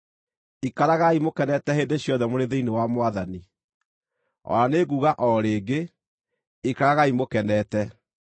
Ikaragai mũkenete hĩndĩ ciothe mũrĩ thĩinĩ wa Mwathani. O na nĩ nguuga o rĩngĩ: Ikaragai mũkenete!